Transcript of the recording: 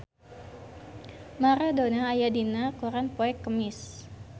Maradona aya dina koran poe Kemis